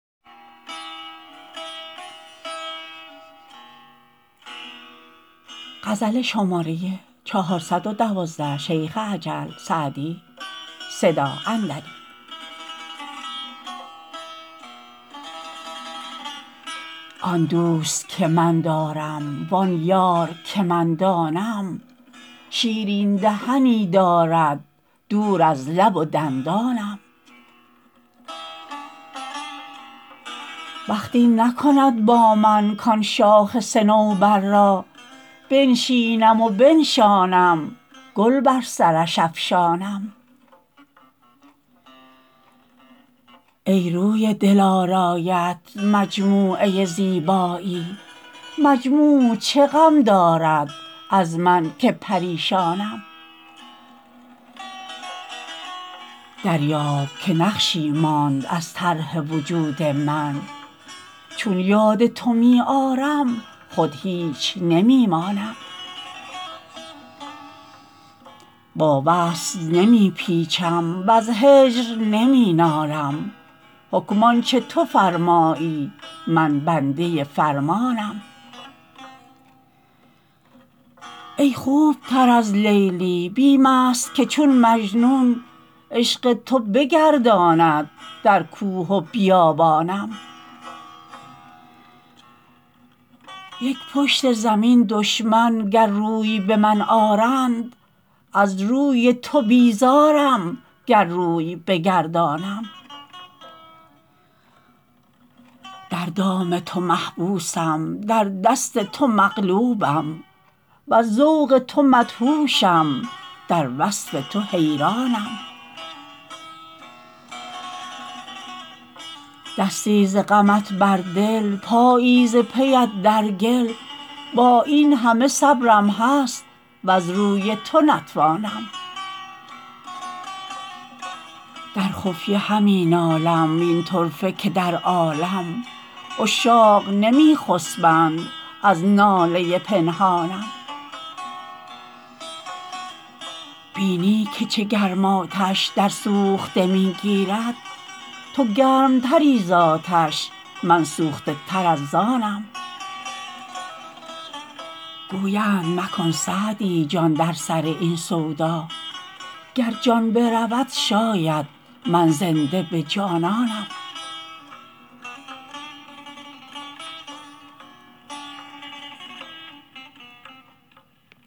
آن دوست که من دارم وآن یار که من دانم شیرین دهنی دارد دور از لب و دندانم بخت این نکند با من کآن شاخ صنوبر را بنشینم و بنشانم گل بر سرش افشانم ای روی دلارایت مجموعه زیبایی مجموع چه غم دارد از من که پریشانم دریاب که نقشی ماند از طرح وجود من چون یاد تو می آرم خود هیچ نمی مانم با وصل نمی پیچم وز هجر نمی نالم حکم آن چه تو فرمایی من بنده فرمانم ای خوب تر از لیلی بیم است که چون مجنون عشق تو بگرداند در کوه و بیابانم یک پشت زمین دشمن گر روی به من آرند از روی تو بیزارم گر روی بگردانم در دام تو محبوسم در دست تو مغلوبم وز ذوق تو مدهوشم در وصف تو حیرانم دستی ز غمت بر دل پایی ز پی ات در گل با این همه صبرم هست وز روی تو نتوانم در خفیه همی نالم وین طرفه که در عالم عشاق نمی خسبند از ناله پنهانم بینی که چه گرم آتش در سوخته می گیرد تو گرم تری زآتش من سوخته تر ز آنم گویند مکن سعدی جان در سر این سودا گر جان برود شاید من زنده به جانانم